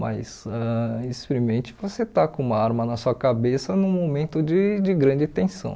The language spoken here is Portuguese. Mas ãh experimente você estar com uma arma na sua cabeça num momento de de grande tensão.